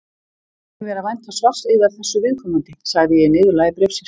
Ég leyfi mér að vænta svars yðar þessu viðkomandi, sagði ég í niðurlagi bréfsins.